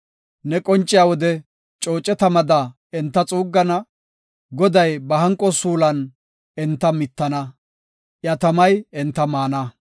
Ne qonciya wode cooce tamada enta xuuggana; Goday ba hanqo suulon enta mittana; iya tamay enta maana.